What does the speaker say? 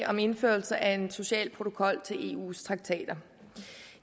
om indførelse af en social protokol til eus traktater